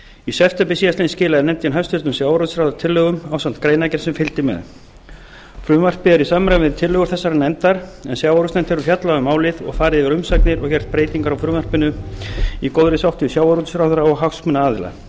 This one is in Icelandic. í september síðastliðinn skilaði nefndin hæstvirtur sjávarútvegsráðherra tillögum ásamt greinargerð sem fylgdi með frumvarpið er í samræmi við tillögur þessarar nefndar en sjávarútvegsnefnd hefur fjallað um málið og farið yfir umsagnir og gert breytingar á frumvarpinu í góðri sátt við sjávarútvegsráðherra og hagsmunaaðila